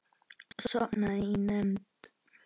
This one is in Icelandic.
Sofnaði í nefnd.